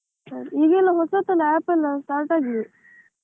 ಈಗೆಲ್ಲ ಹೊಸ ಹೊಸ apps ಎಲ್ಲ start ಆಗಿದೆ.